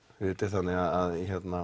þannig